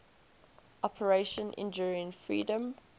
operation enduring freedom